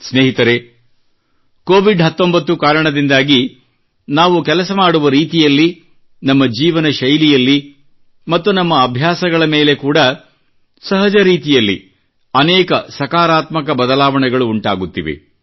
ಸ್ನೇಹಿತರೆ ಕೋವಿಡ್ 19 ಕಾರಣದಿಂದಾಗಿ ನಾವು ಕೆಲಸ ಮಾಡುವ ರೀತಿಯಲ್ಲಿ ನಮ್ಮ ಜೀವನ ಶೈಲಿಯಲ್ಲಿ ಮತ್ತು ನಮ್ಮ ಅಭ್ಯಾಸಗಳ ಮೇಲೆ ಕೂಡಾ ಸಹಜ ರೀತಿಯಲ್ಲಿ ಅನೇಕ ಸಕಾರಾತ್ಮಕ ಬದಲಾವಣೆಗಳು ಉಂಟಾಗುತ್ತಿವೆ